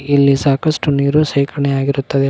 ಇಲ್ಲಿ ಸಾಕಷ್ಟು ನೀರು ಸೇರ್ಕಣಿಯಾಗಿರುತ್ತದೆ ಮ--